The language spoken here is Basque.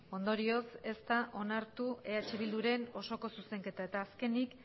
ondorioz ez da onartu eh bilduren osoko zuzenketa eta azkenik